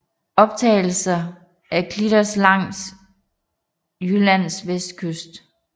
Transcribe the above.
Optagelser af klitter langs Jyllands vestkyst